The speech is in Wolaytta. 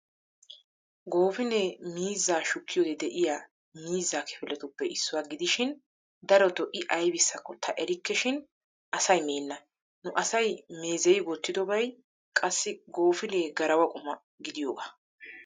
Goofinee miizzaa shukkiyoode de"iyaa mizzaa kifiletuppe issuwa gidishin darotoo I aybissakko ta erikkeshin asay meenna. Nu asay meezeyi wottidobay qassi goofinee garawa quma gidiyoogaa.